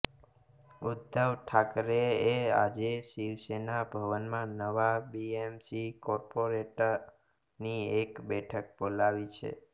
ઉદ્ધવ ઠાકરેએ આજે શિવસેના ભવનમાં નવા બીએમસી કોર્પોરેટરોની એક બેઠક બોલાવી છે